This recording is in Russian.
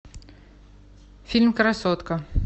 фильм красотка